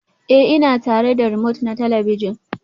Ee, ina tare da romote na talabijin